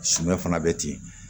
Suman fana bɛ ten